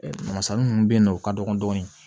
Masa minnu bɛ yen nɔ u ka dɔgɔn dɔɔni